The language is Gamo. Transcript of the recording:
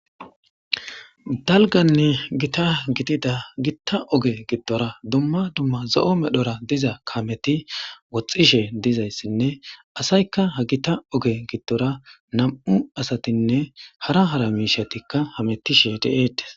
dalganne gita gidida gitta oge giddora dumma dumma zo7o medhora diza kameti woxxishe dizayssinne asaykka ha gita oge giddora nam7u asatinne hara hara miishatikka hamettishe de7eetes